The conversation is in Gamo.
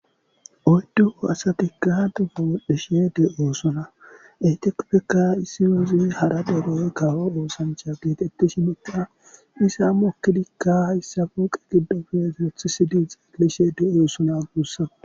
Oydduhu asatikka dufa wodhdhishe de7oosona etekpekka issi wuzi hara deeroy kawo oosancha geetetti shi moqa isa mokkilikka hayssa funqe giddofe firothisidi xeelishe de7oosona agussa